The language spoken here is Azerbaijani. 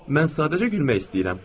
Mən sadəcə gülmək istəyirəm.